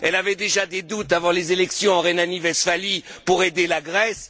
Elle avait déjà des doutes avant les élections en Rhénanie Westphalie pour aider la Grèce.